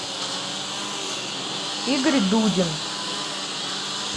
игорь дудин